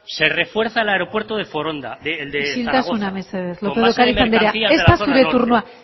se refuerza el aeropuerto de foronda el de zaragoza isiltasuna mesedez lópez de ocariz andrea ez da zure turnoa